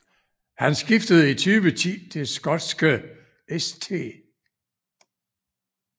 Han skiftede i 2010 til skotske St